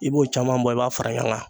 I b'o caman bɔ i b'a fara ɲɔgɔn kan.